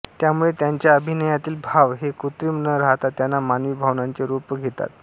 त्यामुळे त्यांच्या अभिनयातील भाव हे कृत्रिम न राहता त्यांना मानवी भावनांचे रूप घेतात